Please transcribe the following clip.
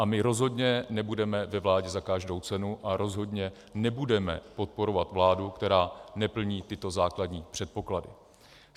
A my rozhodně nebudeme ve vládě za každou cenu a rozhodně nebudeme podporovat vládu, která neplní tyto základní předpoklady.